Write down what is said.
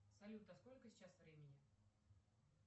салют а сколько сейчас времени